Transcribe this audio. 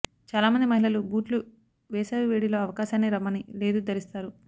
చాలామంది మహిళలు బూట్లు వేసవి వేడి లో అవకాశాన్ని రమ్మని లేదు ధరిస్తారు